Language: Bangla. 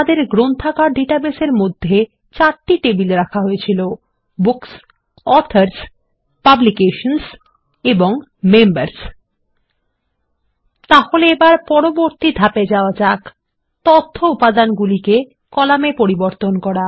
আমাদের গ্রন্থাগার ডাটাবেসের মধ্যে চারটি টেবিল রাখা হয়েছিল বুকস অথর্স পাবলিকেশনসহ এন্ড মেম্বার্স তাহলে এবার আমাদের পরবর্তী ধাপে যাওয়া যাক160 তথ্য উপাদানগুলিকে কলামে পরিবর্তন করা